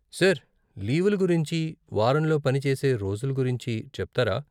Sir, లీవుల గురించి, వారంలో పని చేసే రోజుల గురించి చెప్తారా?